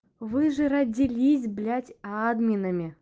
вы же родились блять админами